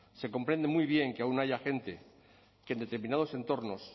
se comprende muy bien que aun haya gente que en determinados entornos